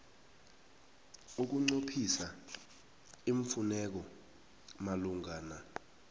ukunqophisa iimfuneko malungana